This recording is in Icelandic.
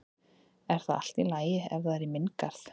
Er það allt í lagi ef það er í minn garð?